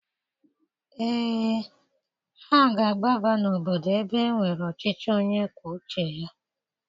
Ee, ha ga-agbaba n'obodo ebe e nwere ọchịchị onye kwuo uche ya.